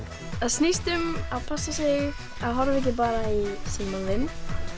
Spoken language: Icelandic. það snýst um að passa sig að horfa ekki bara í símann minn